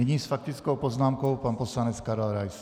Nyní s faktickou poznámkou pan poslanec Karel Rais.